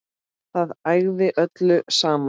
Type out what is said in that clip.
Það ægði öllu saman